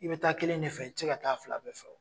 I bɛ taa kelen de fɛ i ti se ka taa a fila bɛɛ fɛ wo.